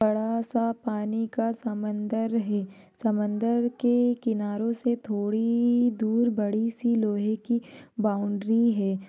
बड़ासा पानी का समंदर है समंदर के किनारों से थोड़ी दूर बड़ी किसी लोहेकी बाउंड्री है।